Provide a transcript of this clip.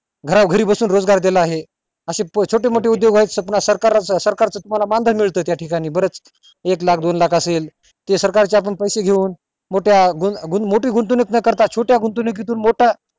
घरा घरो बसून रोजगार दिलेला आहे अशे छोटे मोठे उदोग आहेत सरकार च तुम्हला मानधन मिळत त्या ठिकाणी बरच एक लाख दोन लाख असेल ते सरकार चे आपण पैसे घेऊन मोठ्या गुंत मोठी गुंतवणूक न करता आपण छोटी गुंतवणुकीतून मोठ्या